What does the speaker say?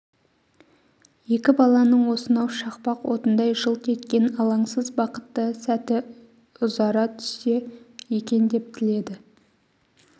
екі баланың осынау шақпақ отындай жылт еткен алаңсыз бақытты сәті ұзара түссе екен деп тіледі